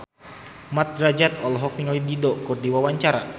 Mat Drajat olohok ningali Dido keur diwawancara